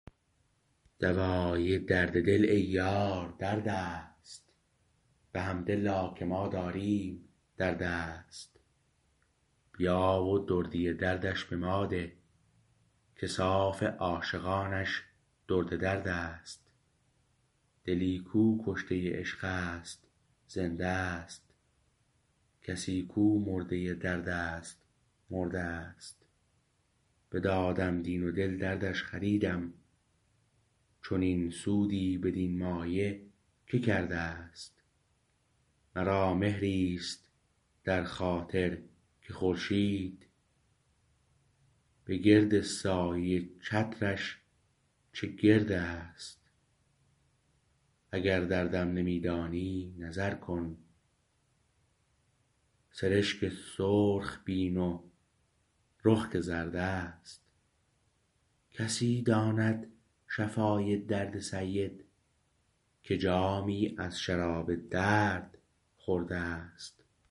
دوای درد دل ای یار دردست بحمدالله که ما داریم در دست بیا و دردی دردش بماده که صاف عاشقانش درد دردست دلی کو کشته عشق است زنده است کسی کو مرده دردست مرده است بدادم دین و دل دردش خریدم چنین سودی بدین مایه که کرده است مرا مهری است در خاطر که خورشید بگرد سایه چترش چه گرد است اگر دردم نمی دانی نظر کن سرشک سرخ بین و رخ که زرد است کسی داند شفای درد سید که جامی از شراب درد خورده است